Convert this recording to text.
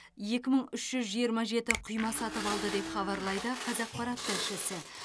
екі мың үш жүз жиырма жеті құйма сатып алды деп хабарлайды қазақпарат тілшісі